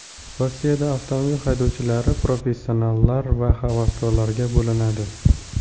Rossiyada avtomobil haydovchilari professionallar va havaskorlarga bo‘linadi.